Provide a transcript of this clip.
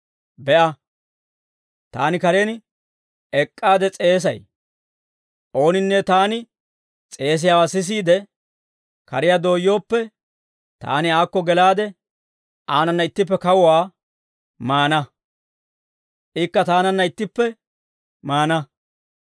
Be'a, taani karen ek'k'aade s'eesay. Ooninne taani s'eesiyaawaa sisiide, kariyaa dooyyooppe, taani aakko gelaade aanana ittippe kawuwaa maana; ikka taananna ittippe maana.